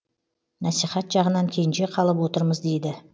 насихат жағынан кенже қалып отырмыз дейді